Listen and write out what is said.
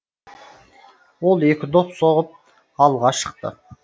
ол екі доп соғып алға шықты